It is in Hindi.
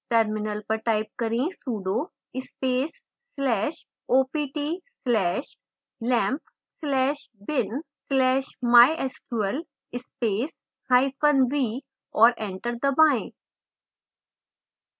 terminal पर type करें sudo space slash opt slash lampp slash bin slash mysql space hyphen v और एंटर दबाएं